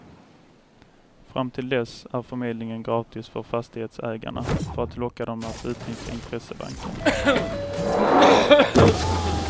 Fram till dess är förmedlingen gratis för fastighetsägarna för att locka dem att utnyttja intressebanken.